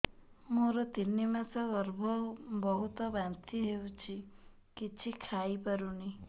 ମୋର ତିନି ମାସ ଗର୍ଭ ବହୁତ ବାନ୍ତି ହେଉଛି କିଛି ଖାଇ ପାରୁନି